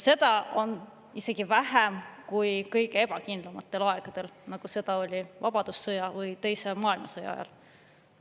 Seda on isegi vähem, kui kõige ebakindlamatel aegadel, nagu seda oli vabadussõja või teise maailmasõja ajal.